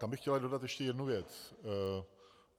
Tam bych chtěl dodat ale ještě jednu věc.